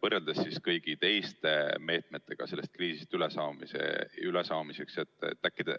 võrreldes kõigi teiste meetmetega sellest kriisist ülesaamiseks maksma läheks?